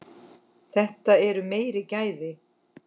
Þetta eru meiri gæði.